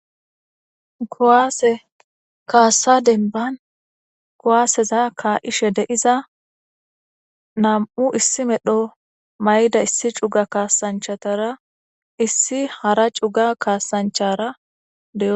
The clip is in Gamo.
kowaase kaassa denban kuwaaseza kaa7ishe deiza nam7u issi medho mayda issi cuga kaasanchatara issi hara cuga kaasanchara de